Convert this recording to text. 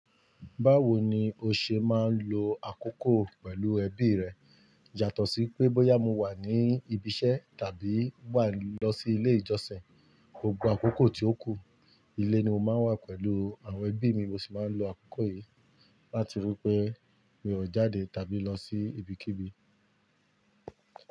Báwo ni o ṣe máa ń lo àkókò pẹ̀lú ẹbí rẹ? Jàtọ̀ sí pé bóyá mo wà ní ibi iṣẹ́ tàbí wà lọ sí ilé ìjọsìn, gbogbo àkókò tí ó kù, ilé ni mo máa wà pẹ̀lú àwọn ẹbí mi. Mo sì máa ń lo àkókò yìí láti rí pé mí o jáde tàbí lọ sí ibikíbi.